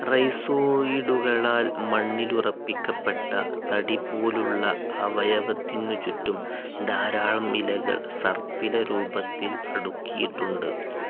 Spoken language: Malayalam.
റൈസോയിഡുകളാൽ മണ്ണിലുറപ്പിക്കപ്പെട്ട തടിപോലുള്ള അവയവത്തിനു ചുറ്റും ധാരാളം ഇലകൾ സർപ്പില രൂപത്തിൽ അടുക്കിയിട്ടുണ്ട്.